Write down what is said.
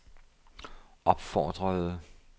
opfordrede